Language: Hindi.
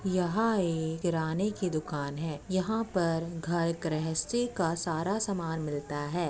यहाँ एक किराने की दुकान है। यहाँ पर घर-गृहस्थी का सारा सामान मिलता है।